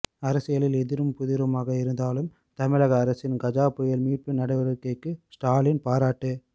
அரசியலில் எதிரும் புதிருமாக இருந்தாலும் தமிழக அரசின் கஜா புயல் மீட்பு நடவடிக்கைக்கு ஸ்டாலின் பாராட்டு